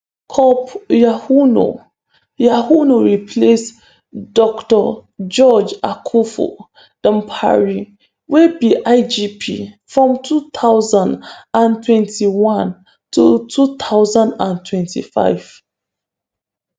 cop yohuno yohuno replace dr george akuffo dampare wey be igp from 2021 to 2025.